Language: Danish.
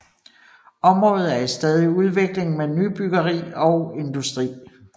Området er i stadig udvikling med nybyggeri og industri